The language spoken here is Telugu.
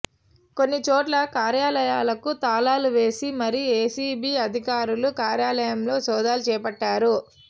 కొన్ని చోట్ల కార్యాలయాలకు తాళాలు వేసి మరీ ఏసీబీ అధికారులు కార్యాలయాల్లో సోదాలు చేపట్టారు